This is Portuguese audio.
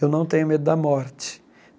Eu não tenho medo da morte.